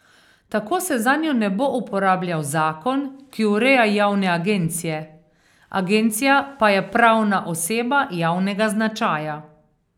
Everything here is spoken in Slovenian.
Tako se zanjo ne bo uporabljal zakon, ki ureja javne agencije, agencija pa je pravna oseba javnega značaja.